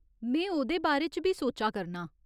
में ओह्‌दे बारे च बी सोचा करनां ।